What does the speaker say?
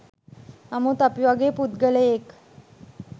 නමුත් අපි වගේ පුද්ගලයෙක්